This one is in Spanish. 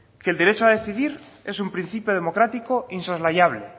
que el derecho es un principio democrático insoslayable